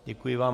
Děkuji vám.